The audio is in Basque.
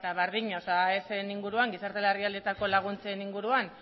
berdina aesen inguruan gizarte larrialdietarako laguntzen inguruan